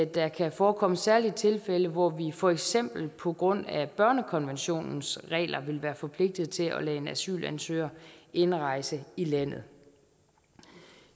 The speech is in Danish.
der kan forekomme særlige tilfælde hvor vi for eksempel på grund af børnekonventionens regler vil være forpligtet til at lade en asylansøger indrejse i landet